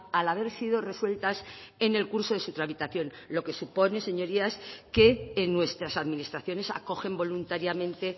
al haber sido resueltas en el curso de su tramitación lo que supone señorías que en nuestras administraciones acogen voluntariamente